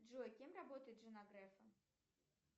джой кем работает жена грефа